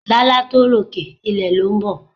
Lálá tó rókè, ilẹ̀ ló ń bọ̀.